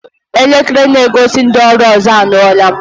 Elekere na-egosi ndị ọrụ ụzọ anyụọla.